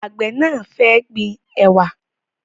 Àgbẹ̀ náà fẹ́ gbin ẹ̀wà